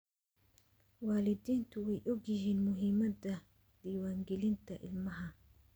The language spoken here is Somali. Waalidiintu way ogyihiin muhiimadda diiwaangelinta ilmaha.